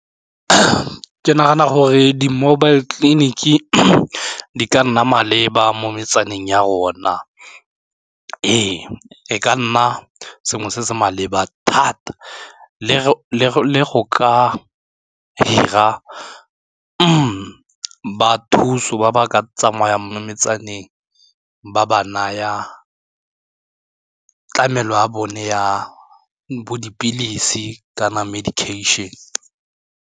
Ke nagana gore di-mobile clinic di ka nna maleba mo metsaneng ya rona. Ee, e ka nna sengwe se se maleba thata le go ka hira ba thuso ba ba ka tsamayang metsaneng ba ba naya tlamelo ya bone ya bo dipilisi kana medication.